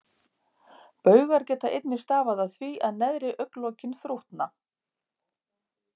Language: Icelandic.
Baugar geta einnig stafað af því að neðri augnlokin þrútna.